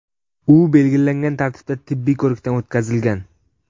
U belgilangan tartibda tibbiy ko‘rikdan o‘tkazilgan.